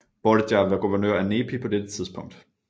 Borgia var guvernør af Nepi på dette tidspunkt